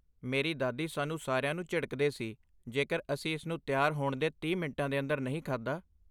ਮੇਰੀ ਦਾਦੀ ਸਾਨੂੰ ਸਾਰਿਆਂ ਨੂੰ ਝਿੜਕਦੇ ਸੀ ਜੇਕਰ ਅਸੀਂ ਇਸ ਨੂੰ ਤਿਆਰ ਹੋਣ ਦੇ ਤੀਹ ਮਿੰਟਾਂ ਦੇ ਅੰਦਰ ਨਹੀਂ ਖਾਧਾ